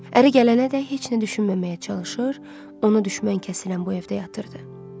Əri gələnədək heç nə düşünməməyə çalışır, ona düşmən kəsilən bu evdə yatırdı.